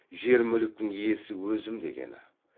жер мүліктің иесі өзім дегені